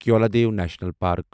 Keoladeo national park